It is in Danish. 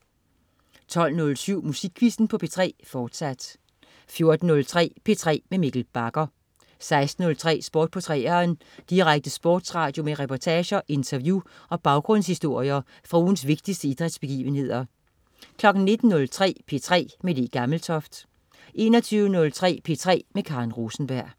12.07 Musikquizzen på P3, fortsat 14.03 P3 med Mikkel Bagger 16.03 Sport på 3'eren. Direkte sportsradio med reportager, interview og baggrundshistorier fra ugens vigtigste idrætsbegivenheder 19.03 P3 med Le Gammeltoft 21.03 P3 med Karen Rosenberg